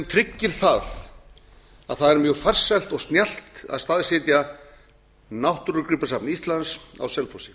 tryggir að það er mjög farsælt og snjallt að staðsetja náttúrugripasafn íslands á selfossi